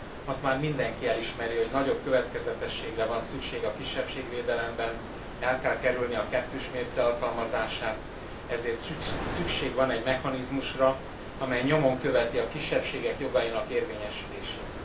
Azt már mindenki elismeri, hogy nagyobb következetességre van szükség a kisebbségvédelemben, el kell kerülni a kettős mérce alkalmazását, ezért szükség van egy mechanizmusra, amely nyomon követi a kisebbségek jogainak érvényesülését.